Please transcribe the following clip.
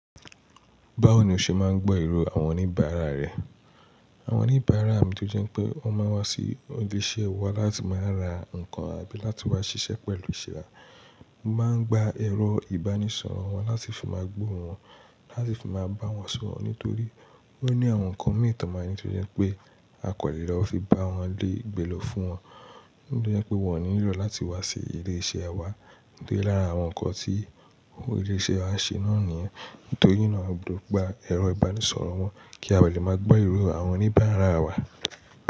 Báwo ni o ṣe máa ń gbọ́ èrò àwọn oníbàárà rẹ? Àwọn oníbàárà mi tó jẹ́ pé wọ́n máa wá sí ibi iṣẹ́ wa láti máa ra nǹkan àbí láti wá ṣiṣẹ́ pẹ̀lú ṣe wa, mo máa ń gba ẹ̀rọ ìbánisọ̀rọ̀ wọn láti fi máa gbò wọ́n, láti fi máa bá wọn sọ̀rọ̀ nítorí wọ́n ní àwọn nǹkan mi màá ní tó jẹ́ pé akọ̀lé lọ fi bá wọn le, gbe lọ fún wọn. Ní bí ó jẹ́ pé wọn ò nílò láti wá sí ilé iṣẹ́ wa. Ní pé lára àwọn nǹkan tí ilé iṣẹ́ wa n ṣe náà nìyẹn. Nítorí náà mo ggba ẹ̀rọ ìbánisọ̀rọ̀ wọn kí a lè máa gbọ́ èrò àwọn oníbàárà wa.